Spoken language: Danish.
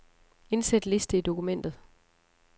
Indsæt liste i dokumentet.